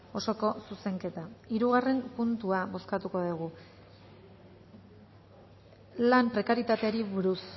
osoko zuzenketa hirugarren puntua bozkatuko dugu lan prekarietateari buruz